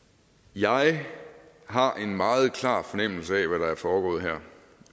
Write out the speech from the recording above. jeg har en meget klar fornemmelse af hvad der er foregået her